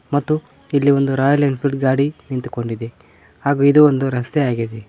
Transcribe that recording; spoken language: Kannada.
ಮತ್ತು ಇಲ್ಲಿ ಒಂದು ರಾಯಲ್ ಎನ್ಫೀಲ್ಡ್ ಗಾಡಿ ನಿಂತುಕೊಂಡಿದೆ ಹಾಗೂ ಇದು ಒಂದು ರಸ್ತೆ ಆಗಿದೆ.